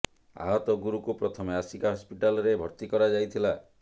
ଆହତ ଗୁରୁକୁ ପ୍ରଥମେ ଆସିକା ହସପିଟାଲ ରେ ଭର୍ତି କରାଯାଇଥିଲା